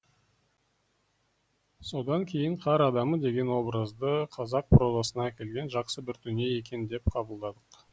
содан кейін қар адамы деген образды қазақ прозасына әкелген жақсы бір дүние екен деп қабылдадық